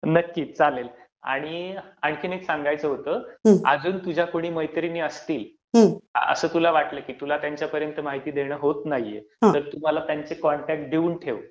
नक्कीच चालेल. आणि आणखी एक सांगायचं होतं, अजून तुझ्या कुणी मैत्रिणी असतील, असं तुला वाटलं की तुला त्यांच्यापर्यंत माहिती देणं होत नाहीए, तर तू मला त्यांचे कॉन्टॅक्टस देऊन ठेव.